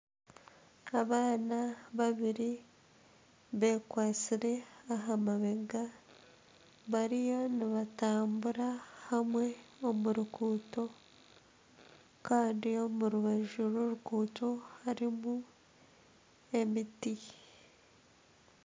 Abaana babiri bekwatatsire aha mabega bariyo nibatambura hamwe omu ruguuto kandi omu rubaju rw'oruguuto harimu emiti.